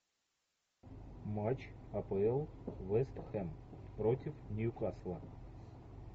матч апл вест хэм против ньюкасла